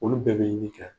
Olu bɛɛ bɛ yiri kɛ